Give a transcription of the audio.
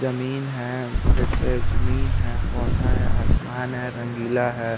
जमीन है फिरसे जमीन है पोधा है आसमान है रंगीला है।